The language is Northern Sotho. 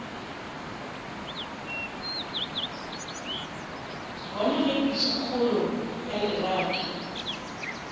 gona ge pitšakgolo ya lerato